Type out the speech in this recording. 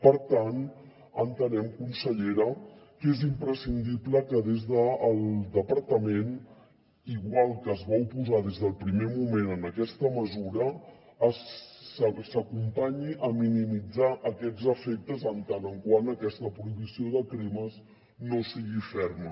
per tant entenem consellera que és imprescindible que des del departament igual que es va oposar des del primer moment a aquesta mesura s’acompanyi a minimitzar aquests efectes en tant que aquesta prohibició de cremes no sigui ferma